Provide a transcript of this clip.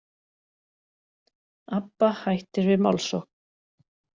Abba hættir við málssókn